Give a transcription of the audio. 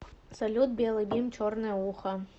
салют белый бим черное ухо